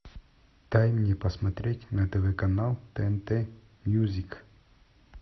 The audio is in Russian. дай мне посмотреть на тв канал тнт мьюзик